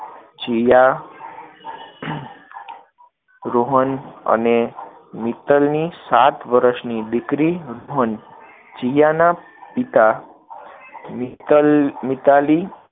જીયા, રોહન અને મિત્તલની સાત વર્ષની દીકરી , જીયાના પિતા મિત્તલ, મિતાલી